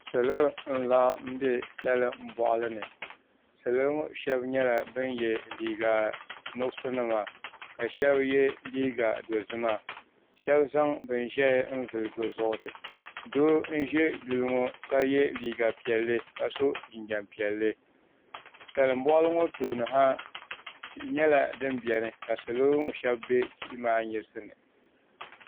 Salo n laɣam bɛ salin boɣali ni salo ŋo shab nyɛla bin yɛ liiga nuɣso nima ka shab yɛ liiga dozima shab zaŋ bin ʒiɛ n vuli bi zuɣuri doo n ʒɛ duli ŋo ka yɛ liiga piɛlli ka so jinjɛm piɛlli salin boɣali ŋo tooni ha tihi nyɛla din biɛni ka salo ŋo shab bɛ tihi maa nyirisi ni